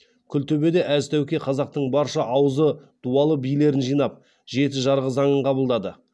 күлтөбеде әз тәуке қазақтың барша аузы дуалы билерін жинап жеті жарғы заңын қабылдады